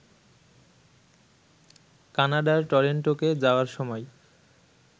কানাডার টরেন্টোকে যাওয়ার সময়